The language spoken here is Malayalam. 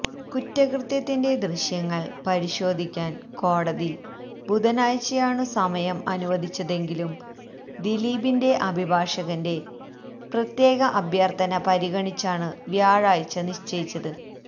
കുറ്റകൃത്യത്തിന്റെ ദൃശ്യങ്ങൾ പരിശോധിക്കാൻ കോടതി ബുധനാഴ്ചയാണു സമയം അനുവദിച്ചതെങ്കിലും ദിലീപിന്റെ അഭിഭാഷകന്റെ പ്രത്യേക അഭ്യർഥന പരിഗണിച്ചാണു വ്യാഴാഴ്ച നിശ്ചയിച്ചത്